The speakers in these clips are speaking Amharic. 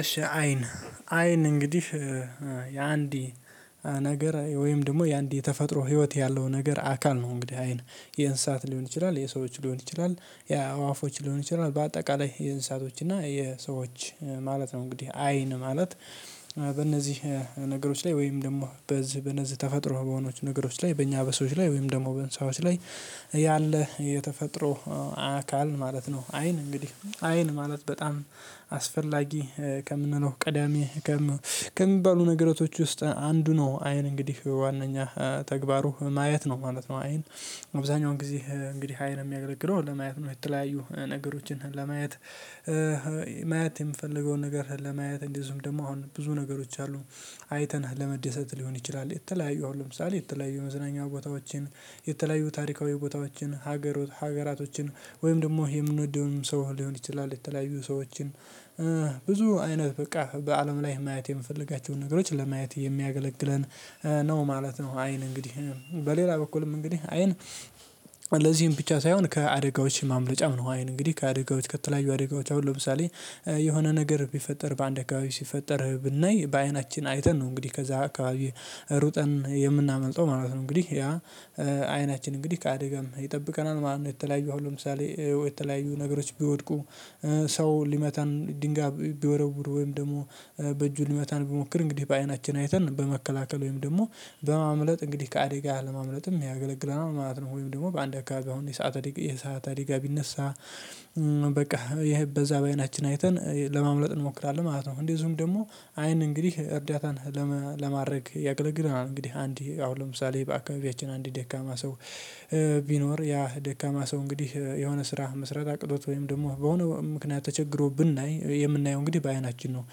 እሺ አይን አይን እንግዲህ የአንዲ ነገር ወይም ደግሞ የአንድ የተፈጥሮ ህይወት ያለው ነገር አካል ነው። እንግዲህ አይን የእንስሳት ሊሆን ይችላል የሰዎች ሊሆን ይችላል ያ አዋፎች ሊሆን ይችላል በአጠቃላይ የእንሳቶች እና የሰዎች ማለት ነው። እንግዲህ አይን ማለት በእነዚህ ነገሮች ላይ ወይም ደግሞ በዚህ በነዚህ ተፈጥሮ በሆኖች ነገሮች ላይ በእኛ በሰዎች ላይ ወይም ደግሞ በእሰሳዎች ላይ ያለ የተፈጥሮ አካል ማለት ነው። አይን እንግዲህ አይን ማለት በጣም አስፈላጊ ከምንለው ቀዳሚ ከምንባሉ ነገራቶች ውስጥ አንዱ ነው። አይን እንግዲህ ዋናኛ ተግባሩ ማየት ነው ማለት ነው። አይን አብዛኛውን ጊዜ እንግዲህ አይን የሚያገለግለው ለማየት ነው የተለያዩ ነገሮችን ለማየት። ማየት የምፈልገውን ነገር ለማየት እንደዚሁም ደግሞ አሁን ብዙ ነገሮች አሉ። አይተን ለመደሰት ሊሆን ይችላል የተለያየው አሁን ለምሳሌ የተለያዩ መዝናኛ ቦታዎችን የተለያዩ ታሪካዊ ቦታዎችን ሀገሮች ሀገራቶችን ወይም ደግሞ የምንወደውንም ሰው ሊሆን ይችላል የተለያዩ ሰዎችን ብዙ አይነት በቃ በአለም ላይ ማየት የምፈልጋቸውን ነገሮች ለማየት የሚያገለግለን ነው ማለት ነው። አይን እንግዲህ በሌላ በኩልም እንግዲህ አይን ለዚህም ብቻ ሳይሆን ከአደጋዎች ማምለጫም ነው። አይን እንግዲህ ከአደጋዎች ከተለያዩ አደጋዎች አሁን ለምሳሌ የሆነ ነገር ቢፈጠር በአንድ አካባቢ ሲፈጠርህ ብናይ በአይናችን አይተን ነው እንግዲህ ከዛ አካባቢ ሩጠን የምናመልጠው ማለት ነው። እንግዲህ ያ አይናችን እንግዲህ ከአደጋም ይጠብቀናል ማለት ነው። የተለያዩ ለምሳሌ የተለያዩ ነገሮች ቢወድቁ ሰው ሊመተን ድንጋን ቢወረውሩ ወይም ደግሞ በእጁ ልመታን ብሞክር እንግዲህ በአይናችን አይተን በመከላከል ወይም ደግሞ በማምለጥ እንግዲህ ከአደጋ ለማምለጥም ያገለግለናል ማለት ነው። ወይም ደግሞ በአንድ አካባቢ አሁን የሰዓት አደጋ የሰዓት አደጋ ቢነሳ በቃ ይሄ በዛ በአይናችን አይተን ለማምለጥ እንሞክራለን ማለት ነው። እንደዚሁም ደግሞ አይን እንግዲህ እርዳታን ለማድረግ ያገለግላል። እንግዲህ አንድ አሁን ለምሳሌ በአካባቢያችን አንድ ደካማ ሰው ቢኖር ያ ደካማ ሰው እንግዲህ የሆነ ስራ መስራት አቅቶት ወይም ደግሞ በሆነ ምክንያት ተቸግሮ ብናይ የምናየው እንግዲህ በአይናችን ነው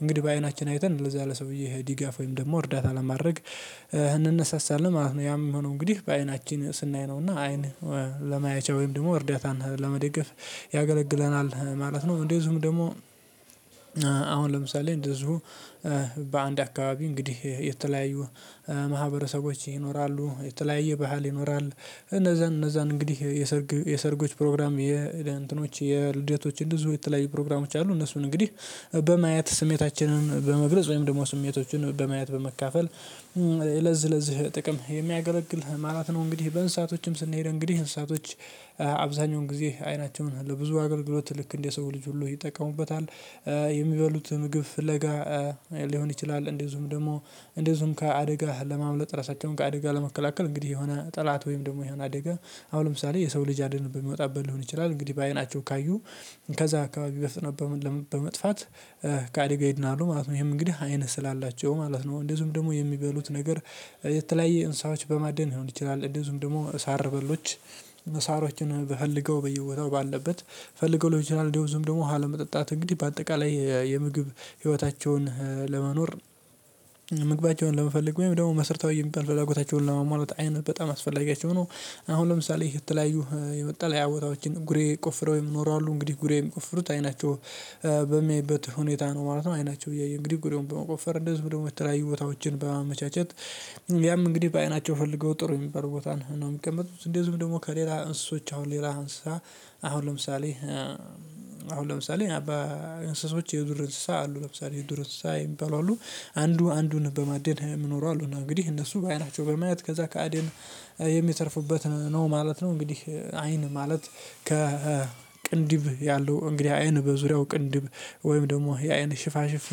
እንግዲህ በአይናችን አይተን ለዛ ለሰውዬ ድጋፍ ወይም ደግሞ እርዳታ ለማድረግ እንነሳሳለን ማለት ነው። ያም ሆኖ እንግዲህ በአይናችን ስናይ ነውና አይን ለማየቻ ወይም ደግሞ እርዳታን ለመደገፍ ያገለግለናል ማለት ነው። እንደዝሁም ደግሞ አሁን ለምሳሌ እንደዚሁ በአንድ አካባቢ እንግዲህ የተለያዩ ማህበረሰቦች ይኖራሉ የተለያየ ባህል ይኖራል። እነዛን እነዛን እንግዲህ የሰርጎች ፕሮግራም የእንትኖች የልደቶችን ብዙ የተለያዩ ፕሮግራሞች አሉ እነሱን እንግዲህ በማየት ስሜታችንን በመግለጽ ወይም ደግሞ ስሜቶችን በማየት በመካፈል ለዚህ ለዚህ ጥቅም የሚያገለግል ማለት ነው። እንግዲህ በእንሳቶችም ስንሄድ እንግዲህ እንሰሳቶች አብዛኛውን ጊዜ አይናቸውን ለብዙ አገልግሎት ልክ እንደ ሰው ልጅ ሁሉ ይጠቀሙበታል። የሚበሉት ምግብ ለጋ ሊሆን ይችላል። እንደዚሁም ደግሞ እንደዚሁም ከአደጋ ለማምለጥ ራሳቸውን ከአደጋ ለመከላከል እንግዲህ የሆነ ጠላት ወይም ደግሞ የሆነ አደጋ አሁን ለምሳሌ የሰው ልጅ አደን በሚወጣበት ሊሆን ይችላል እንግዲህ በአይናቸው ካዩ ከዛ አካባቢ በፍጥነት በመጥፋት ከአደጋ ይድናሉ ማለት ነው። ይሄም እንግዲህ አይን ስላላቸው ማለት ነው። እንደዚሁም ደግሞ የሚበሉት ነገር የተለያየ እንሰሳዎች በማደን ሊሆን ይችላል። እንደዚሁም ደግሞ ሳር በሎች መሳሮችን በፈልገው በየቦታው ባለበት ፈልገው ለቤተሰብ እንደዚውም ደግሞ ውሃ ለመጠጣት እንግዲህ በአጠቃላይ የምግብ ህይወታቸውን ለመኖር ምግባቸውን ለመፈለግ ወይም ደግሞ መስርታዊ የሚባል ፍላጎታቸውን ለመሟላት አይነት በጣም አስፈላጊያቸው ነው። አሁን ለምሳሌ የተለያዩ የመጠለያ ቦታዎችን ጉሬ ቆፍረው ይኖራሉ እንግዲህ ጉሬው የሚቆፍሩት አይናቸው በሚያይበት ሁኔታ ነው ማለት ነው። አይናቸው እያየ እንግዲህ ጉሬውን በመቆፈር እንደዚህ ወደዚውም የተለያዩ ቦታዎችን በማመቻቸት ያም እንግዲህ በአይናቸው ፈልገው ጥሩ የሚባል ቦታ ነው የሚቀመጡት። እንደዚሁም ደግሞ ከሌላ እንስሶች አሁን ሌላ አንሰሳ አሁን ለምሳሌ አሁን ለምሳሌ በ እንሰሶች የዱር እንስሳ አሉ ለምሳሌ የዱር እንስሳ የሚባሉ አሉ። አንዱ አንዱን በማደን ሚኖሩ አሉ እና እንግዲህ እነሱ በአይናቸው በማየት ከዛ ከአደን የሚተርፉበት ነው ማለት ነው። እንግዲህ አይን ማለት ከቅንድብ ያለው እንግዲህ አይን በዙሪያው ቅንድብ ወይም ደግሞ የአይን ሽፋሽፍት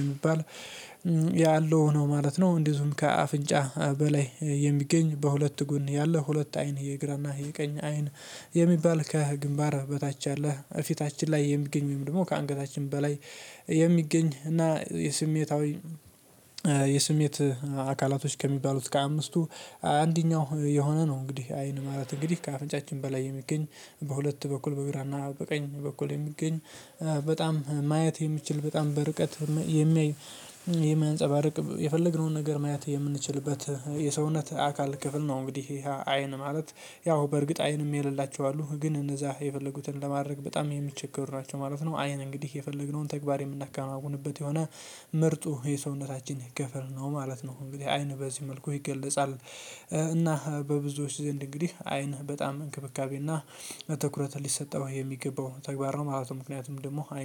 የሚባል ያለው ነው ማለት ነው። እንዲሁም ከአፍንጫ በላይ የሚገኝ በሁለት ጎን ያለው ሁለት አይን የግራና የቀኝ አይን የሚባል ከግንባር በታች ያለ ፊታችን ላይ የሚገኝ ወይም ደግሞ ከአንገታችን በላይ የሚገኝ እና የስሜታዊ የስሜት አካላቶች ከሚባሉት ከአምስቱ አንደኛው የሆነ ነው። እንግዲህ አይን ማለት እንግዲህ ከአፍንጫችን በላይ የሚገኝ በሁለት በኩል በግራና በቀኝ በኩል የሚገኝ በጣም ማየት የሚችል በጣም በርቀት የሚያይ የሚያንፀባርቅ የፈለግነውን ነገር ማየት የምንችልበት የሰውነት አካል ክፍል ነው። እንግዲህ ይሄ አይን ማለት ያው በእርግጥ አይንም የሌላቸው አሉ ግን እነዛ የፈለጉትን ለማድረግ በጣም የሚቸገሩ ናቸው ማለት ነው። አይን እንግዲህ የፈለግነውን ተግባር የምናከናውንበት የሆነ ምርጡ የሰውነታችን ገፈር ነው ማለት ነው። እንግዲህ አይን በዚህ መልኩ ይገለጻል። እና በብዙዎች ዘንድ እንግዲህ አይን በጣም እንክብካቤና ትኩረት ሊሰጠው የሚገባው ተግባር ነው ማለት ነው። ምክንያቱም ደግሞ አይን